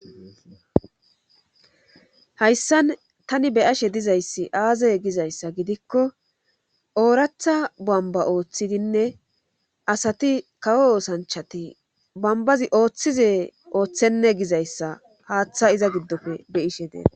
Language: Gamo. hayssan tani beyashe dizayssi aazaye gizayssa gidikko ooratha bamba ooththidinne asati kawo oosanchati bambazi ooththize ooththenne gizayssa haaththa iza giddofe be7ishe deena